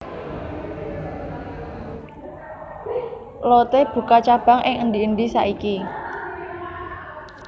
Lotte buka cabang nang endi endi saiki